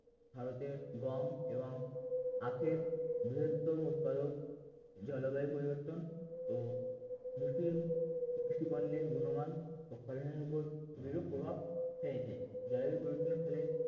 ভারতের গম এবং আখের বৃহত্তম উৎপাদক জলবায়ুর পরিবর্তন ও কৃষি পণ্যের গুণমান ও ফলনের উপর বিরূপ প্রভাব হয়েছে যার পরিবর্তনের ফলে